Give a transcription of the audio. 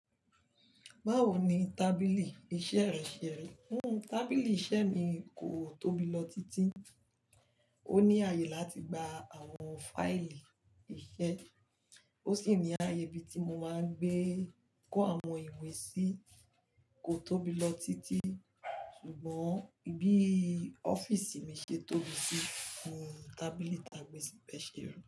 Báwo ni tábìlì iṣẹ́ rẹ ṣe rí? Hún, tábìlì iṣẹ́ mi kò tóbi lọ títí, ó ní ààyè láti gba àwọn fáìlì iṣẹ́, ó sì ní ààyè ibi tí mo máa ń gbé kó àwọn ìwé sí kò tóbi lọ títí. Ṣùgbọ́n bí ọ́fíísì mi ṣe tóbi sí, ni tábìlì tà gbé sì bẹ́ẹ̀ ṣe rí.